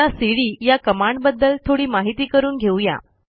आता सीडी या कमांडबद्दल थोडी माहिती करून घेऊ या